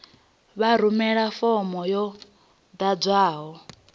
vha rumele fomo yo ḓadzwaho